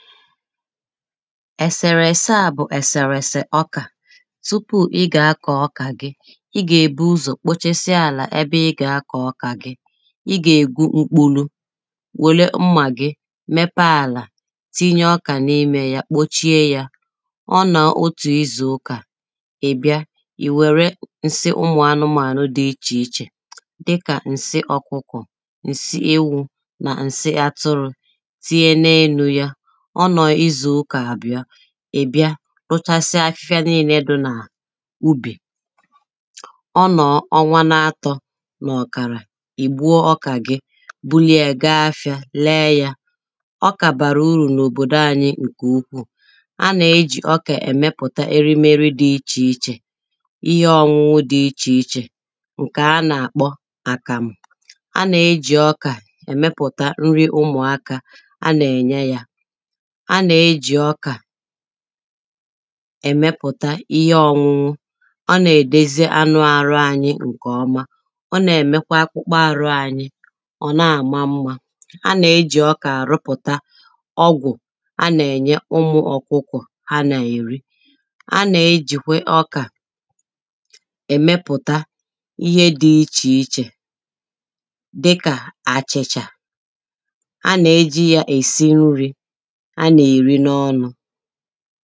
ẹ̀sèrẹ̀ ẹ̀sẹā bụ̀ ẹ̀sẹ̀rẹ̀ ẹ̀sẹ̀ ọkà tụpụ ịgà akọ̀ ọkà ịgà èbugodu ụzọ̀ kpochesia àlà ebe ịgà akọ̀ ọkà ịgà ègbu mkpụ̄lu wèle mmà gị mepee àlà tinye ọka n’ịmē ya kpochie ya ọnùọ otù izù ụkà ìbịa ìwèrē ǹsị ụmụ̀ anụmānụ̀ dị ịchì ịchè dịkà ǹsị ọkụkọ̀ ǹsị ewū nà ǹsị atụrụ̄ tinye n’elū ya ọnùọ izù ụkà àbìa ìbịa rúʧásɪ́á áfɪ́fɪ́á nííné dʊ́ nà ụbì ọnùọ ọnwa na-atọ nà-ọ̀kàrà ìgbuo ọkà gị bulịị ya ga afịā lee ya ọkà bàrà ụrù n’òbòdò anyi ǹkè ụkwuù anà ejì ọkà èmepùta erịmerị dị ịchè ịchè ihi ọnwụnwụ dị ịchè ịchè ǹkè anà àkpọ àkàmù anà ejì ọkà èmepùta nrị ụmụ̀ akā anà-ènye ya anà ejì ọkà èmepùta ihe ọgwụgwụ ọnà èdezị anụ arụ anyi ǹkè ọma ọnà èmekwa akpụkpa aru anyi ọ̀na àma mmā anà ejì ọkà àrụ pùta ọgwù anà ènye ụmụ̄ ọ̀kwụkwọ̀ ha nà-èrị anà ejìkwe ọkà èmepùta ihe dị ịchì ịchè dịkà àchìchà anà ejī ya èsị nrī anà èrị n’ọnū